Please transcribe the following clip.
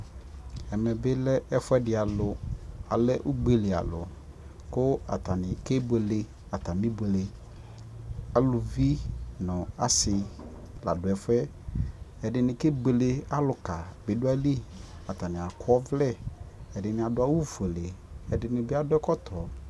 Ɛmɛ bi lɛ ɛfuɛdi alʋ, alɛ ugbeli alʋ kʋ atani kebuele atami buele Alʋvi nʋ asi la dʋ ɛfuɛ Ɛdini kebuele, alʋka bi dʋ ayili Atani akɔ ɔvlɛ, edini adu awʋ fuele ɛdini bi adu ɛkɔtɔ